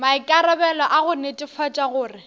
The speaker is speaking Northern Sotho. maikarabelo a go netefatša gore